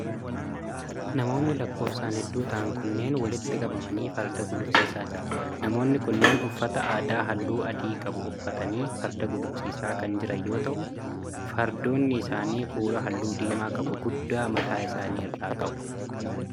Namoonni lakkoofsan hedduu ta'an kunneen, walitti qabamanii farda gulufsiisaa jiru. Namoonni kunneen uffataa adaa haalluu adii qabu uffatanii farda gulufsiisaa kan jiran yoo ta'u, fardoonni isaanii kuula haalluu diimaa qabu guddaa mataa isaanii irraa qabu.